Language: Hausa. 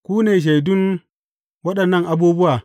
Ku ne shaidun waɗannan abubuwa.